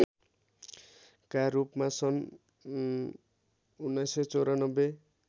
का रूपमा सन् १९९४